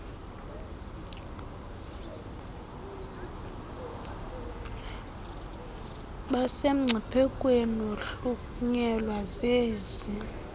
basemngciphekweni wokuhlunyelwa zezi